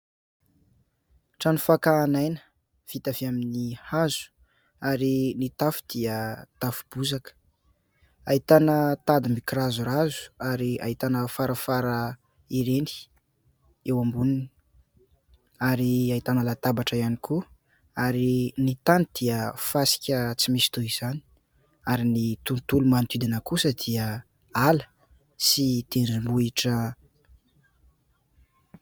Trano fakan' aina vita avy amin' ny hazo ary ny tafo dia tafo bozaka. Ahitana tady mikirazorazo ary ahitana farafara ireny eo amboniny ary ahitana latabatra ihany koa. Ary ny tany dia fasika tsy misy toy izany ary ny tontolo manodidina kosa dia ala sy tendrombohitra.